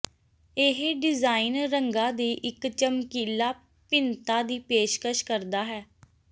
ਇਹ ਡਿਜ਼ਾਇਨ ਰੰਗਾਂ ਦੀ ਇੱਕ ਚਮਕੀਲਾ ਭਿੰਨਤਾ ਦੀ ਪੇਸ਼ਕਸ਼ ਕਰਦਾ ਹੈ